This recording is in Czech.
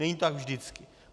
Není to tak vždycky.